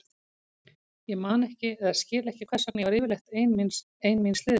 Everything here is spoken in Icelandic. Ég man ekki eða skil ekki hvers vegna ég var yfirleitt ein míns liðs.